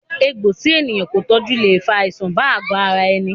Egbò tí ènìyàn kò tọjú le fa àìsàn bá àgo ara ẹni